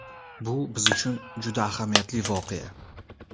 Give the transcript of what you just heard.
Bu biz uchun juda ahamiyatli voqea.